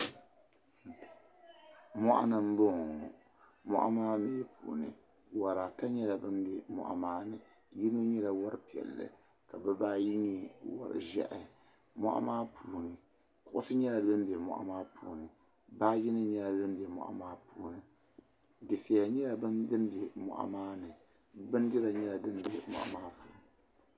Mɔɣu ni mbɔŋɔ ŋɔ mɔɣu maa mi puuni yuri ata nyɛla bambɛ mɔɣu maa ni yino nyɛla wari piɛli ka bibaa ayi yɛ wori ʒehi mɔɣu maa puuni kuɣisi yɛla dimbɛ mɔɣu maa puuni baaji nim nyɛla dimbɛ mɔɣu maa puuni dufɛya nyɛla dimbɛ mɔɣu maa ni bindira nyɛla dimbɛ mɔɣu maa puuni .